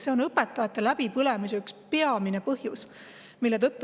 See on õpetajate läbipõlemise üks peamisi põhjuseid.